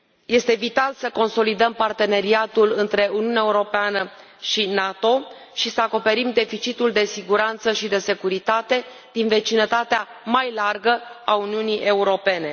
Este vital să consolidăm parteneriatul între Uniunea Europeană și NATO și să acoperim deficitul de siguranță și de securitate din vecinătatea mai largă a Uniunii Europene.